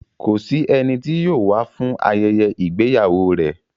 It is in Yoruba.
Kò sí ẹni tí yóò wá fún ayẹyẹ ìgbéyàwó rẹ̀.